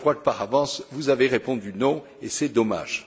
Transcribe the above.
Je crois que, par avance, vous avez répondu non, et c'est dommage.